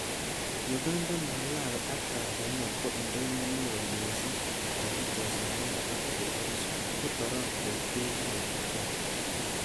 Uganda, Malawi ak Tanzania ko indonyo neo missing nebo chesarur ak cheborus, ko torogwet keibu koyob Congo.